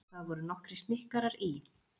Það voru nokkrir snikkarar í